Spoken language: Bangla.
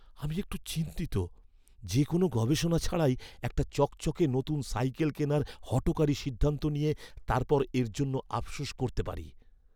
আমি একটু চিন্তিত যে কোনও গবেষণা ছাড়াই একটা চকচকে নতুন সাইকেল কেনার হঠকারি সিদ্ধান্ত নিয়ে তারপর এর জন্য আফসোস করতে পারি।